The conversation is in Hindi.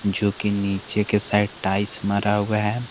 जोकि नीचे के साइड टाइल्स मारा हुआ है।